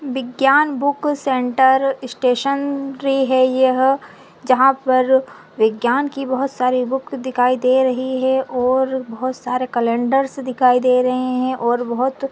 विग्यान book centre stationery हैं यह जहा पर बिग्यान की बहुत सारी बूक दिखाई दे रही है और बहुत सारा कलेण्डर्स दिखाई दे रहे हैं और बहुत--